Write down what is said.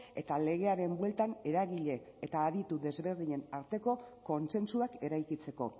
eta legearen bueltan eragile eta aditu desberdinen arteko kontsentsuak eraikitzeko